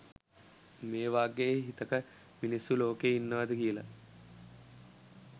මේවගේ හිතක මිනිස්සු ලෝකේ ඉන්නවද කියලත්.